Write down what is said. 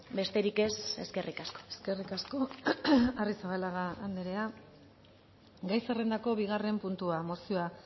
besterik ez eskerrik asko eskerrik asko arrizabalaga andrea gai zerrendako bigarren puntua mozioa